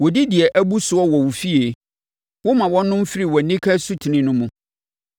Wɔdi deɛ abu soɔ wɔ wo fie woma wɔnom firi wʼanika asutene no mu.